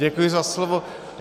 Děkuji za slovo.